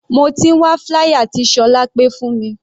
Mo ti ń wá flier tí Solape fún mi.